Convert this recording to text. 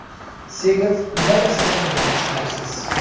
Segev nimaga asoslangani tushunarsiz.